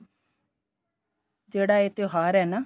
ਜਿਹੜਾ ਇਹ ਤਿਉਹਾਰ ਏ ਨਾ